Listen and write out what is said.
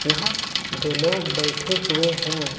यहां दो लोग बैठे हुए हैं।